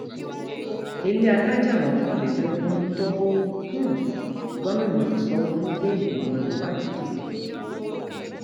ilé alájà mọkànlélógún tó um gomina sanwóolu gbé ìgbìmọ olùwádìí dìde